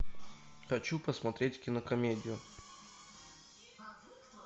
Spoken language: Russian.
хочу посмотреть кинокомедию